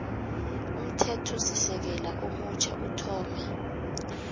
umthethosisekelo omutjha uthome